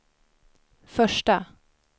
första